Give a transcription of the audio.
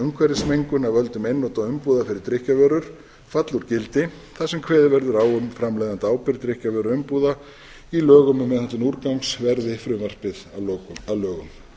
umhverfismengun af völdum einnota umbúða fyrir drykkjarvörur falli úr gildi þar sem kveðið verði á um framleiðendaábyrgð drykkjarvöruumbúða í lögum um meðhöndlun úrgangs verði frumvarpið að lokum að lögum